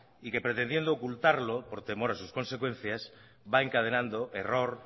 y que pretendiendo ocultarlo por temor a sus consecuencias va encadenando error